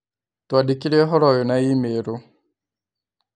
Twandĩkĩre ũhoro ũyũ na i-mīrū